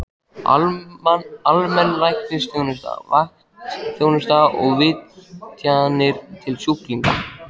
Almenn læknisþjónusta, vaktþjónusta og vitjanir til sjúklinga.